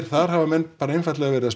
þar hafa menn bara einfaldlega verið að